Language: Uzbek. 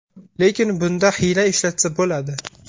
Lekin bunda hiyla ishlatsa bo‘ladi.